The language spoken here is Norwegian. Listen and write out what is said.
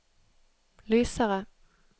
lysere